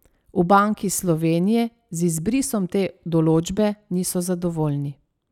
V Banki Slovenije z izbrisom te določbe niso zadovoljni.